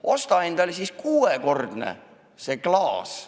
Osta endale siis kuuekordne klaas!